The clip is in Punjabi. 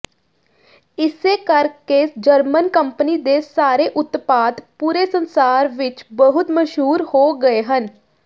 ਇਸੇ ਕਰਕੇ ਜਰਮਨ ਕੰਪਨੀ ਦੇ ਸਾਰੇ ਉਤਪਾਦ ਪੂਰੇ ਸੰਸਾਰ ਵਿਚ ਬਹੁਤ ਮਸ਼ਹੂਰ ਹੋ ਗਏ ਹਨ